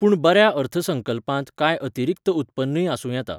पूण बऱ्या अर्थसंकल्पांत कांय अतिरिक्त उत्पन्नूय आसूं येता.